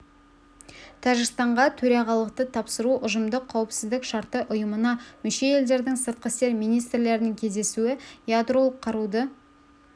тәжікстанға төрағалықты тапсыру ұжымдық қауіпсіздік шарты ұйымына мүше елдердің сыртқы істер министрлерінің кездесуі ядролық қаруды